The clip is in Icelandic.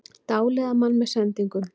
Dáleiða mann með sendingunum